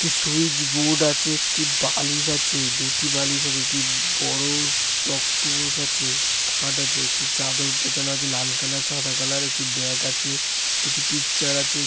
একটি switch board আছে একটি বালিশ আছে দুটি বালিশ আছে এটি বড়ো টক্তপোষ আছে খাট আছে একটি চাদর পেছানো আছে লাল কালার সাদা কালার । একটি ব্যাগ আছে । দুটি পিকচার আছে।